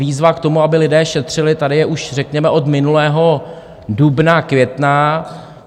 Výzva k tomu, aby lidé šetřili, tady je už řekněme od minulého dubna, května.